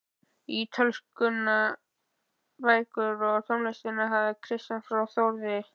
Ítölskuna, bækurnar og tónlistina hafði Kristján frá Þórði